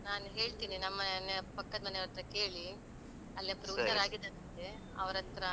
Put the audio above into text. ನಾನು ಹೇಳ್ತೀನಿ ನಮ್ಮ ಮನೆಯ ಪಕ್ಕದ್ಮನೆಯವರತ್ರ ಕೇಳಿ ಅಲ್ಲಿ ಒಬ್ರು. ಅವ್ರ್ಹತ್ರ.